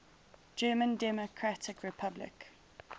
german democratic republic